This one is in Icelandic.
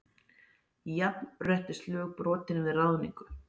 Jafnréttislög brotin við ráðningu